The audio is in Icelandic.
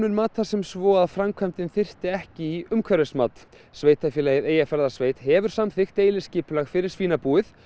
mat það sem svo að framkvæmdin þyrfti ekki í umhverfismat sveitarstjórn Eyjafjarðarsveitar hefur samþykkt deiliskipulag fyrir svínabúið